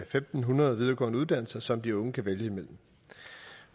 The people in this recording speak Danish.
fem hundrede videregående uddannelser som de unge kan vælge imellem